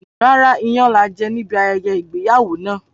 Rárá, iyán laje níbi ayẹyẹ ìgbéyàwó náà.